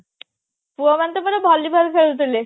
ପୁଅ ମାନେ ତ ପୁରା volleyball ଖେଳୁଥିଲେ